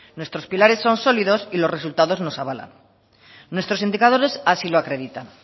nuestros pilares son sólidos y los resultados nos avalan nuestros indicadores así lo acreditan